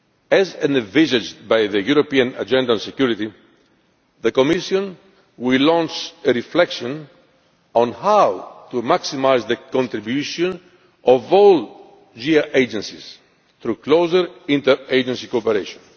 As envisaged by the European Agenda on Security, the Commission will launch a reflection on how to maximise the contribution of all JHA agencies through closer inter agency cooperation.